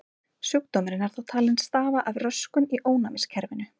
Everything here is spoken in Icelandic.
Sjúkdómurinn er þó talinn stafa af röskun í ónæmiskerfinu.